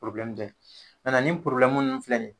dɛ nin nun filɛ nin ye